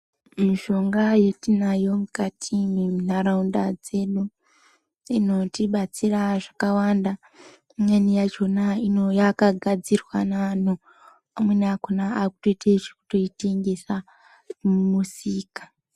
Mishonga yatinayo mukati mwenharaunda dzino inotibatsira zvakawanda. Imweni yakhona yakagadzirwa naanhu, vamweni vakhona vakutoite zvekutoitengese mumisika.